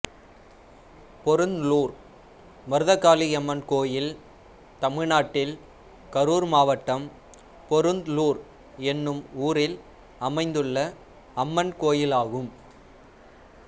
பொருந்லூர் மருதகாளியம்மன் கோயில் தமிழ்நாட்டில் கரூர் மாவட்டம் பொருந்லூர் என்னும் ஊரில் அமைந்துள்ள அம்மன் கோயிலாகும்